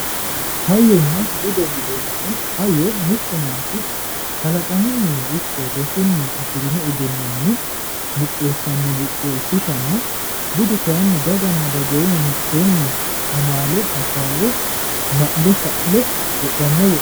hayyonna bude yineemmohu hayyo mittu manchi kalaqamunnino ikko rosunni afirino egennonni buqqeessanno buqqee ikkitanna budu kayinni dagoomu mitteenni ma'le fa'le wodhanno wodhooti.